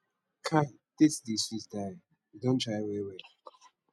kai dates dey sweet die you don try well well